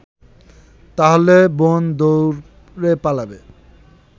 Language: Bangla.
তাহলে বোন দৌড়ে পালাবে